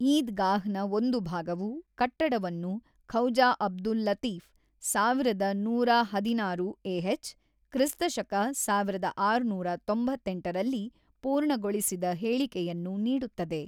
ಈದ್ ಗಾಹ್ ನ ಒಂದು ಭಾಗವು ಕಟ್ಟಡವನ್ನು ಖವ್ಜಾ ಅಬ್ದುಲ್ ಲತೀಫ಼್ ಸಾವಿರದ ನೂರಹದಿನಾರು ಎಹೆಚ್ ಕ್ರಿಸ್ತ ಶಕ ಸಾವಿರದ ಆರುನೂರ ತೊಂಬತ್ತೆಂಟು ರಲ್ಲಿ ಪೂರ್ಣಗೊಳಿಸಿದ ಹೇಳಿಕೆಯನ್ನು ನೀಡುತ್ತದೆ.